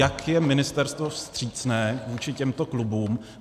Jak je ministerstvo vstřícné vůči těmto klubům?